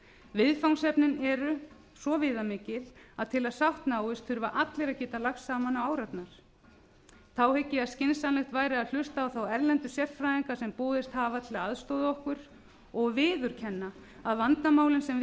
viðfangsefnin eru svo viðamikil að til að sátt náist þurfa allir að geta lagst saman á árarnar þá hygg ég að skynsamlegt væri að hlusta á þá erlendu sérfræðinga sem boðist hafa til að aðstoða okkur og viðurkenna að vandamálin sem við